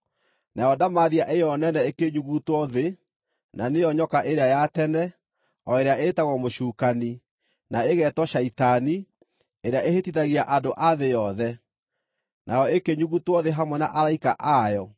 Nayo ndamathia ĩyo nene ĩkĩnyugutwo thĩ, na nĩyo nyoka ĩrĩa ya tene, o ĩrĩa ĩĩtagwo mũcukani, na ĩgeetwo Shaitani, ĩrĩa ĩhĩtithagia andũ a thĩ yothe. Nayo ĩkĩnyugutwo thĩ hamwe na araika ayo.